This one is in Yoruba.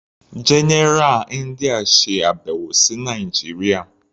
General India ṣe àbẹ̀wò sí Nàìjíría.